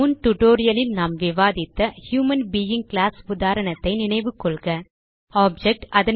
முன் டியூட்டோரியல் ல் நாம் விவாதித்த ஹியூமன் பெயிங் கிளாஸ் உதாரணத்தை நினைவுகொள்க ஆப்ஜெக்ட்